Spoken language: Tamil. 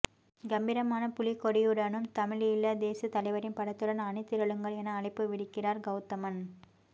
கம்பீரமான புலிக்கொடியுடனும் தமிழீழ தேசிய தலைவரின் படத்துடன் அணிதிரளுங்கள் என அழைப்பு விடுகிறார் கௌதமன்